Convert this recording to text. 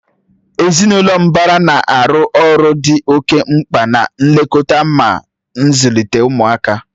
Ezinụlọ mbara na-arụ ọrụ dị oke mkpa na nlekọta mà ịzụlite ụmụaka